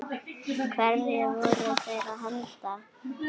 Hverju voru þeir að henda?